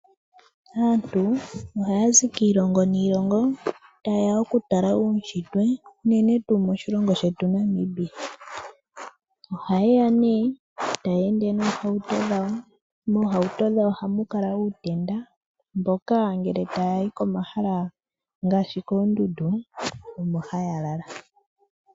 Aantu ohaya zi kiilongo niilongo tayeya okutala uunshitwe unene tuu moshilongo shetu Namibia. Ohaya ende noohauto dhawo, moohauto dhawo ohamu kala uutenda mboka ngele tayayi komahala ngaashi koondundu omo haya lala.